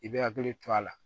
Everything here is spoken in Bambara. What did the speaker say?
I bɛ hakili to a la